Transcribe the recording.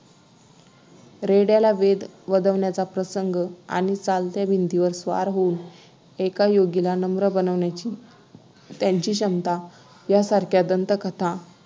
रेड्या ला वेद वदवण्याचा प्रसंग आणि चालत्या भिंतीवर स्वार होऊन एका योगीला नम्र बनवण्याची त्यांची क्षमता यासारख्या दंतकथा